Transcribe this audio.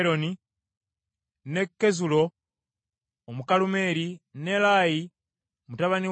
ne Kezulo Omukalumeeri, ne Naalayi mutabani wa Ezubayi,